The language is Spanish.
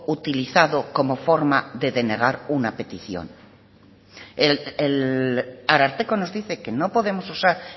utilizado como forma de denegar una petición el ararteko nos dice que no podemos usar